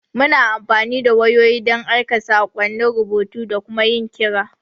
Muna amfani da wayoyi don aika saƙonnin rubutu da kuma yin kira.